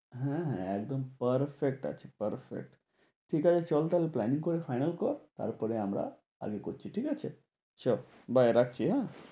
হ্যাঁ হ্যাঁ একদম perfect আছে perfect. ঠিকাছে চল তাহলে planning করে final কর। তারপরে আমরা করছি ঠিকাছে? চঃ bye রাখছি হ্যাঁ?